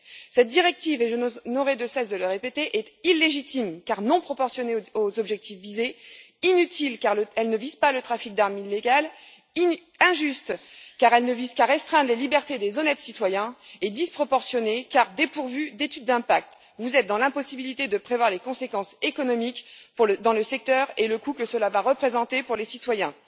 Cette directive et je n'aurai de cesse de le répéter est illégitime car non proportionnée aux objectifs visés, inutile car elle ne vise pas le trafic d'armes illégales, injuste car elle ne vise qu'à restreindre les libertés des honnêtes citoyens, et disproportionnée car dépourvue d'études d'impact. Vous êtes dans l'impossibilité de prévoir les conséquences économiques dans le secteur et le coût que cela va représenter pour les citoyens.